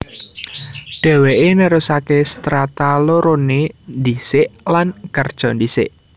Dhèwèké nerusaké Strata loroné ndhisik lan kerja ndhisik